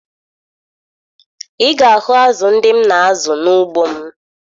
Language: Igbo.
Ị ga-ahụ azụ ndị m na-azụ n'ugbo m